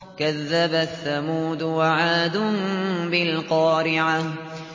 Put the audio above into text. كَذَّبَتْ ثَمُودُ وَعَادٌ بِالْقَارِعَةِ